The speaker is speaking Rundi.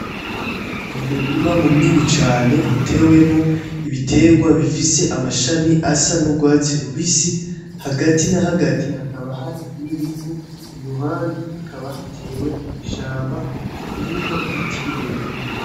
Ni umurima munini cane utewemwo ibitegwa bifise amashami asa n'urwatsi rubisi, hagati na hagati hakaba hari n'ibivu , iruhande hakaba hatewe ishamba irimwo ibiti birebire .